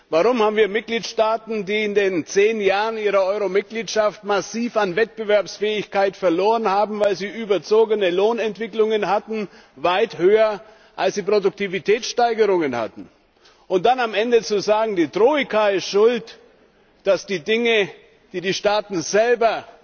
Warum haben wir Mitgliedstaaten, die in den zehn Jahren ihrer Euro Mitgliedschaft massiv an Wettbewerbsfähigkeit verloren haben, weil sie überzogene Lohnentwicklungen hatten, die weit höher waren, als sie Produktivitätssteigerungen hatten? Und dann am Ende zu sagen, die Troika sei schuld, dass die Dinge, die die Staaten selber